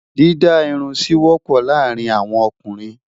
Dídá Irun sí wọ́pọ̀ láàárín àwọn ọkùnrin.